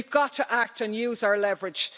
We've got to act and use our leverage.